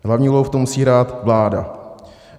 Hlavní úlohu v tom musí hrát vláda.